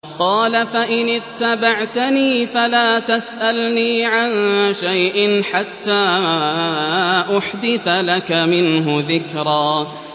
قَالَ فَإِنِ اتَّبَعْتَنِي فَلَا تَسْأَلْنِي عَن شَيْءٍ حَتَّىٰ أُحْدِثَ لَكَ مِنْهُ ذِكْرًا